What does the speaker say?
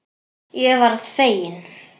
Ég varð fegin.